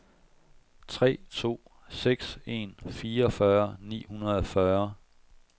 tre to seks en fireogfyrre ni hundrede og fyrre